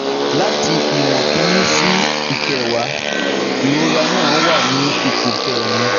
Lati iwon kini si ikewa, irora na wa ni ipo kerin